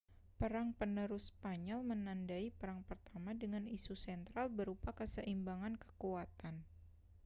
perang penerus spanyol menandai perang pertama dengan isu sentral berupa keseimbangan kekuatan